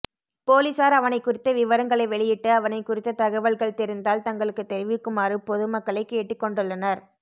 பொலிசார் அவனைக் குறித்த விவரங்களை வெளியிட்டு அவனைக் குறித்த தகவல்கள் தெரிந்தால் தங்களுக்கு தெரிவிக்குமாறு பொது மக்களைக் கேட்டுக் கொண்டுள்ளனர்